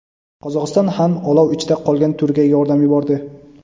Qozog‘iston ham olov ichida qolgan Turkiyaga yordam yubordi.